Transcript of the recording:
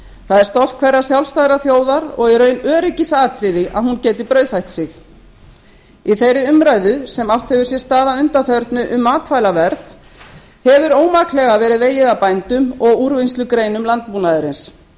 það er stolt hverrar sjálfstæðrar þjóðar og í raun öryggisatriði að hún geti brauðfætt sig í þeirri umræðu sem átt hefur sér stað að undanförnu um matvælaverð hefur ómaklega verið vegið að bændum og úrvinnslugreinum landbúnaðarins